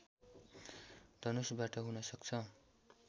धनुषबाट हुन सक्छ